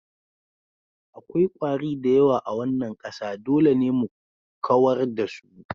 Akwai kwari da yawa a wannan ƙasa, dole ne mu kawar da su.